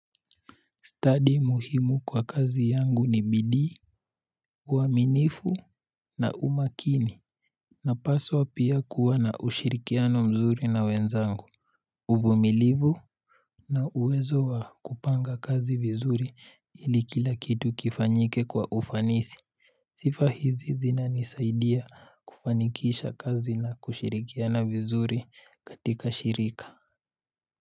Study muhimu kwa kazi yangu ni bidi uaminifu na umakini. Na paswa pia kuwa na ushirikiano mzuri na wenzangu. Uvumilivu. Na uwezo wa kupanga kazi vizuri ili kila kitu kifanyike kwa ufanisi. Sifa hizi zina nisaidia kufanikisha kazi na kushirikiana vizuri katika shirika.